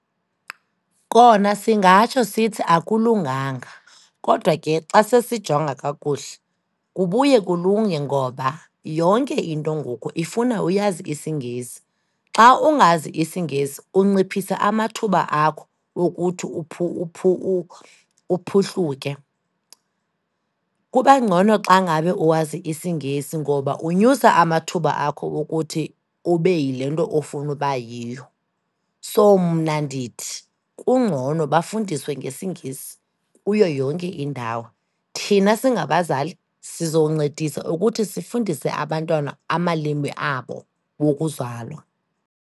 Kona singatsho sithi akulunganga, kodwa ke xa sesijonga kakuhle kubuye kulunge ngoba yonke into ngoku ifuna uyazi isiNgesi. Xa ungazi isiNgesi, unciphisa amathuba akho okuthi uphuhluke. Kuba ngcono xa ngabe uwazi isiNgesi ngoba unyusa amathuba akho wokuthi ube yile nto ofuna uba yiyo. So, mna ndithi kungcono bafundiswe ngesiNgesi kuyo yonke indawo. Thina singabazali sizoncedisa ukuthi sifundise abantwana amalimi abo wokuzalwa.